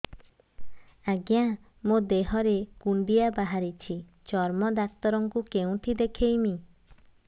ଆଜ୍ଞା ମୋ ଦେହ ରେ କୁଣ୍ଡିଆ ବାହାରିଛି ଚର୍ମ ଡାକ୍ତର ଙ୍କୁ କେଉଁଠି ଦେଖେଇମି